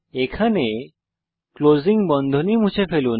এখানে ক্লোজিং বন্ধনী মুছে ফেলুন